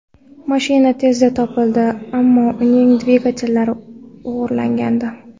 Mashina tezda topildi, ammo uning dvigatellari o‘g‘irlangandi.